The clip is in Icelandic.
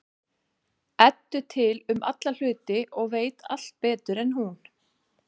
Eddu til um alla hluti og veit allt betur en hún.